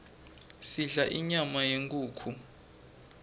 sidla inyama yenkhukhu